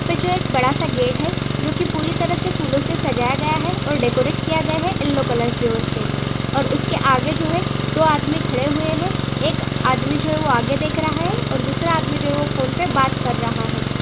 -- जो एक बड़ा सा गेट है जो कि पूरी तरह फूलो से सजाया गया है और डेकोरेट किया गया है येल्लो कलर की और से और उसके आगे जो है दो आदमी खड़े हुए है एक आदमी जो है आगे देख रहा है और दूसरा आदमी जो है वो फ़ोन पे बात कर रहा हैं।